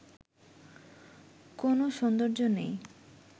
কোনো সৌন্দর্য নেই